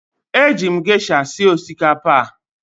Eji m gesha sie osikapa a.